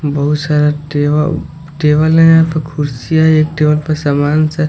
बहुत सारा टेब टेबल है दो कुर्सीया है एक टेबल पे सामान से--